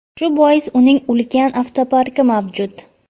Shu bois uning ulkan avtoparki mavjud.